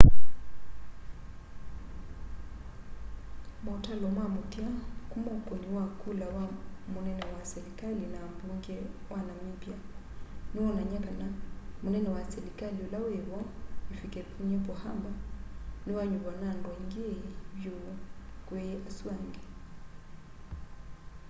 mautalo ma muthia kuma ukuni wa kula wa munene wa selikali na ambunge wa namibia niwonany'a kana munene wa selikali ula wivo hifikepunye pohamba niwanyuvwa na andu aingi vyu kwi asu andi